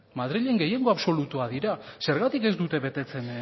madrilen gehiengo absolutua dira zergatik ez dute betetzen